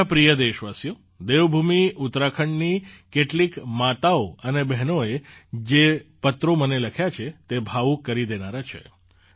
મારા પ્રિય દેશવાસીઓ દેવભૂમિ ઉત્તરાખંડની કેટલીક માતાઓ અને બહેનોએ જે પત્રો મને લખ્યા છે તે ભાવુક કરી દેનારા છે